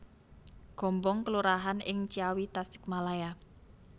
Gombong kelurahan ing Ciawi Tasikmalaya